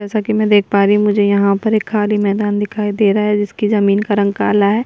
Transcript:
जैसा की मैं देख पा रही हूँ मुझे यहाँ पर एक खाली मैदान दिखाई दे रहा है जिसकी जमीन का रंग काला है।